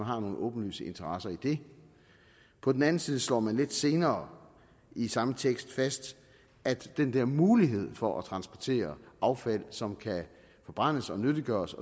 har nogle åbenlyse interesser i det på den anden side slår man lidt senere i samme tekst fast at den der mulighed for at transportere affald som kan forbrændes og nyttiggøres